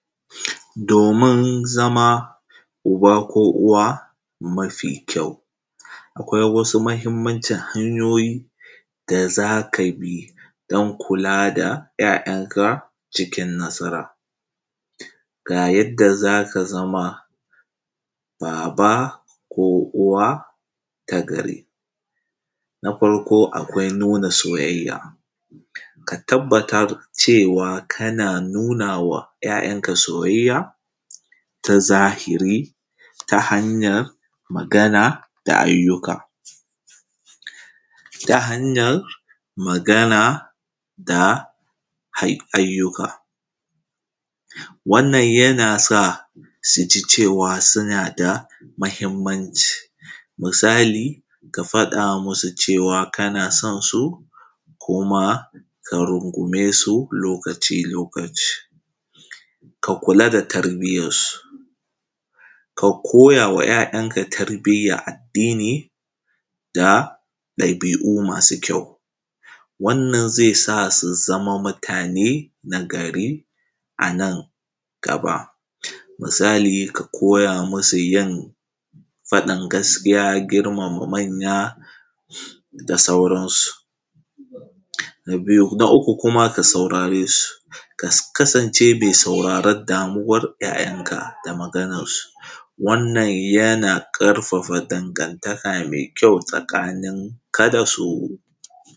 Domin zama uba ko uwa mafi kyau, akwai wasu mahimmancin hanyoyi da za ka bi don kula da ‘ya’yanka cikin nasara. Ga yadda za ka zama baba ko uwa ta gari: Na farko akwai nuna soyayya; ka tabbatar cewa kana nunawa ‘ya’yanka soyayya ta zahiri, ta hanyar magana da ayyuka, ta hanyan magana da ayyuka, wannan yana sa su ji cewa suna da mahimmanci, misali ka faɗa musu cewa kana son su, ko ma ka rungume su lokaci-lokaci. Ka kula da tarbiyansu, ka koyawa ‘ya’yanka tarbiyya addini da ɗabi’u masu kyau. Wannan zai sa su zama mutane na gari a nan gaba, misali ka koya masu yin, faɗan gaskiya, girmama manya da sauransu. Na uku kuma ka sauraresu, ka kasance mai sauraren damuwar ‘ya’yanka da maganansu, wannan yana ƙarfafa dangantaka mai kyau tsakaninka da su.